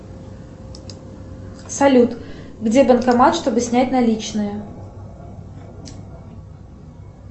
салют где банкомат чтобы снять наличные